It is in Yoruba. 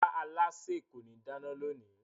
Rárá, alásè kò ní dáná lónìí